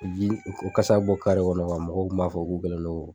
u kasa bɛ bɔ kɔnɔ mɔgɔw kun b'a fɔ k'u kɛlen no